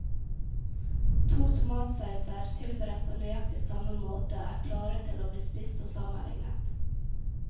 To tomatsauser tilberedt på nøyaktig samme måte er klare til å bli spist og sammenlignet.